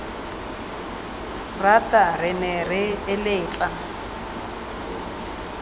rata re ne re eletsa